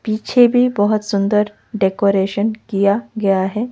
पीछे भी बहोत सुंदर डेकोरेशन किया गया है।